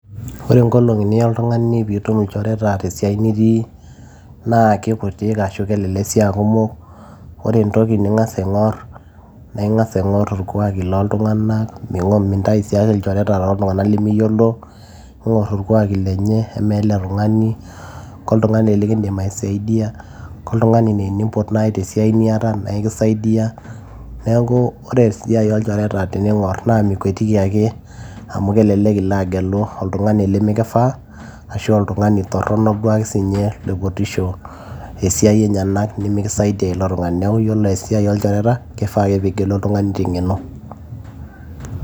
ore inkolong'i niya oltung'ani piitum ilchoreta tesiai nitii naa kikutik ashu kelelek sii aa kumok ore entoki ning'as aing'orr naa ing'as aing'orr irkuaki loltung'anak mintai sii ake ilchoreta toltung'ana lemiyiolo ing'orr irkuaki lenye amaa ele tung'ani koltung'ani likindim aisaidia koltung'ani naa enimpot naaji tesiai niata naa ekisaidiyia neeku ore esiai olchoreta tening'orr naa mikwetiki ake agelu oltung'ani lemikifaa ashu oltung'ani torronok duo ake siinye loipotisho esiai enyenak nimikisaidia ilo tung'ani neeku ore esiai oolchoreta kifaa ake piigelu oltung'ani teng'eno.